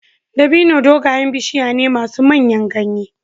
Dabino dogayen bishiya ne masu manyan ganye.